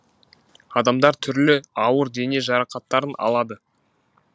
адамдар түрлі ауыр дене жарақаттарын алады